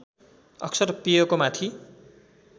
अक्सर पेयको माथि